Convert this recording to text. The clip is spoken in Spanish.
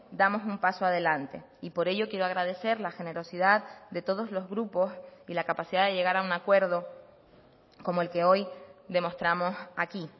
damos un paso adelante y por ello quiero agradecer la generosidad de todos los grupos y la capacidad de llegar a un acuerdo como el que hoy demostramos aquí